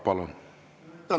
Palun!